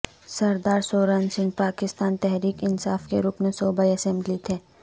سردار سورن سنگھ پاکستان تحریک انصاف کے رکن صوبائی اسمبلی تھے